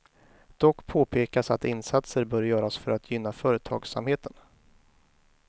Dock påpekas att insatser bör göras för att gynna företagsamheten.